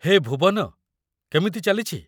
ହେ ଭୁବନ ! କେମିତି ଚାଲିଛି?